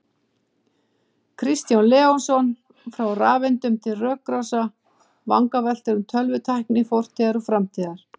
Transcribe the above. Kristján Leósson, Frá rafeindum til rökrása: Vangaveltur um tölvutækni fortíðar og framtíðar